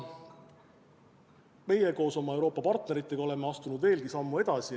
Meie koos oma Euroopa partneritega oleme astunud veelgi sammu edasi.